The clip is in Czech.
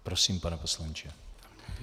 Prosím, pane poslanče.